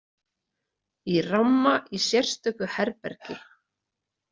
Í ramma í sérstöku herbergi.